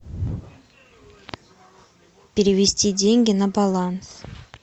перевести деньги на баланс